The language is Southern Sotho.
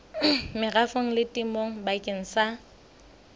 merafong le temong bakeng sa